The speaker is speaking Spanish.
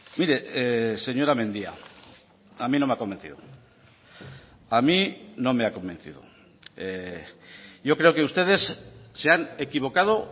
mire señora mendia a mí no me ha convencido a mí no me ha convencido yo creo que ustedes se han equivocado